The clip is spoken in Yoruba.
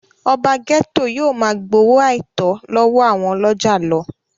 ọba gẹ́tò yóò máa gbowó àìtọ́ lọ́wọ́ àwọn ọlọ́jà lọ